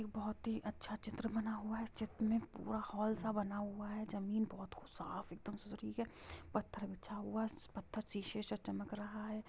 एक बहुत ही अच्छ चित्र बना हूआ है| चित्र मे पूरा हॉल स बना हूआ है| जमीन बहुत ही साफ और सूत्री है| पत्थर बिछा हूआ है| पत्थर शीशी स चमक रहा है।